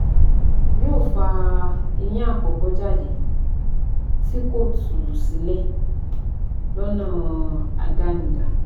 Yóò fa eyín àkọ́kọ́ jáde tí kò tú sílẹ̀ lọ́nà àdánidá